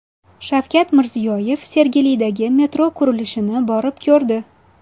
Shavkat Mirziyoyev Sergelidagi metro qurilishini borib ko‘rdi.